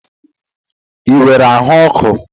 Ị nwere ahụ ọkụ?